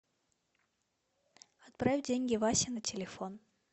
отправь деньги васе на телефон